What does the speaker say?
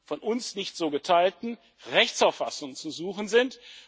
von uns nicht so geteilten Rechtsauffassung zu suchen sind.